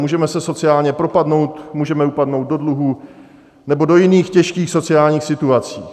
Můžeme se sociálně propadnout, můžeme upadnout do dluhů nebo do jiných těžkých sociálních situací.